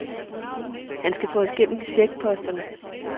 Han skal få os gennem checkposterne.